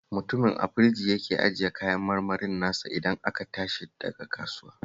Mutumin a firji yake ajiye kayan kayan marmarin nasa idan aka tashi daga kasuwar